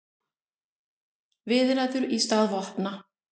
Viðræður í stað vopna